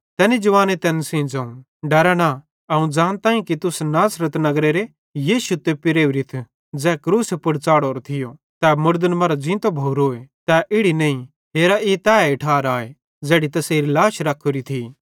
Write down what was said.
तैनी जवाने तैन सेइं ज़ोवं डरा न अवं ज़ानताईं कि तुस नासरत नगरेरे यीशु तोप्पी राओरिथ ज़ै क्रूसे पुड़ च़ाढ़रो थियो तै मुड़दन मरां ज़ींतो भोरोए तै इड़ी नईं हेरा ई तैए ठार आए ज़ेड़ी तैसेरी लाश रख्खोरी थी